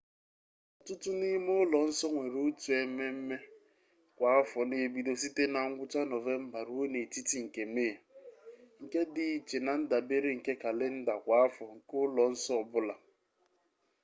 ọtụtụ n'ime ụlọ nsọ nwere otu ememme kwa afọ na-ebido site na ngwụcha nọvemba ruo n'etiti nke mee nke dị iche na-ndabere nke kalenda kwa afọ nke ụlọ nsọ ọ bụla